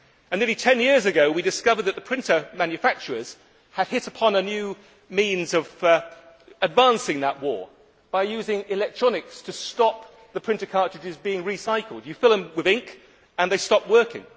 Nearly 10 years ago we discovered that the printer manufacturers had hit upon a new means of advancing that war by using electronics to stop the printer cartridges being recycled you fill them with ink and they stop working.